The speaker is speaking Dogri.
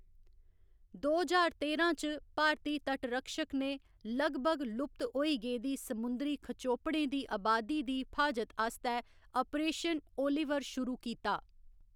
दो ज्हार तेरां च भारती तटरक्षक ने लगभग लुप्त होई गेदी समुंदरी खचोपड़ें दी अबादी दी फ्हाजत आस्तै आपरेशन ओलिवर शुरू कीता।